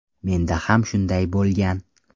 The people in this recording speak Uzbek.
Menda ham shunday bo‘lgan.